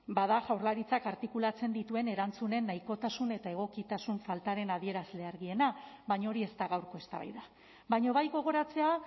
bada jaurlaritzak artikulatzen dituen erantzunen nahikotasuna eta egokitasun faltaren adierazle argiena baina hori ez da gaurko eztabaida baina bai gogoratzea